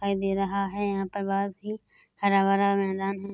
खाई दे रहा है यहाँ पर बहोत ही हरा-भरा मैदान है।